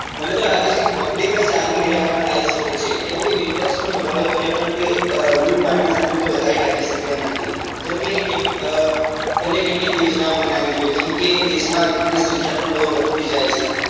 મને તો લાગે છે કે public જ આનું નિરાકરણ લાવી સકે છે કેમ કે વિપક્ષ પણ હોબાળો કરે પણ તે ruling party સામે તો વધારે તાકી સકે તેમ નથી જેમ કે તેમને કેટલીક યોજનાઓ બનાવવી જોઈએ જેમ કે દેશ માં rap ની સંખ્યા પણ બઉ વધતી જાય છે